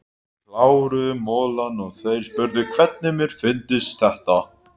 Við kláruðum molann og þeir spurðu hvernig mér fyndist þetta.